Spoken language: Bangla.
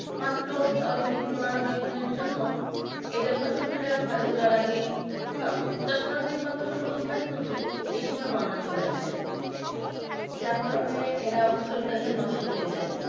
মাত্র দশ দিন পনেরো দিন দিনের জন্য এদের ফসল গুলো ঘরে তোলার আগে আহ দশ পনেরো দিন পর ফসল গুলো ঘরে তুলবে এই সময় বন্যা চলে আসে যার কারণে এরা ফসলটা যে নষ্ট হয়ে যায়